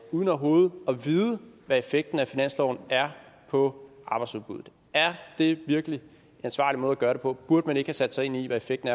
uden overhovedet at vide hvad effekten af finansloven er på arbejdsudbuddet er det virkelig en ansvarlig måde at gøre det på burde man ikke have sat sig ind i hvad effekten